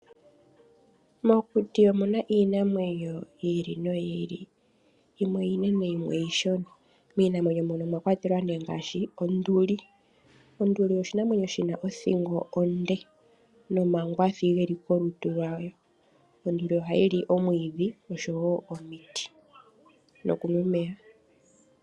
Mokuti omuna iinamwenyo yiili no yiili yimwe iinene yimwe iishona, miinamwenyo mono omwa kwatelwa nee ngaashi onduli. Onduli oshinamwenyo shina othingo onde nomangwathi geli kolutu lwayo. Onduli oha yili omwiidhi osho woo omiti nokunwa omeya.